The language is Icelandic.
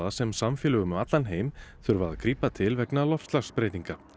sem samfélög um allan heim þurfa að grípa til vegna loftslagsbreytinga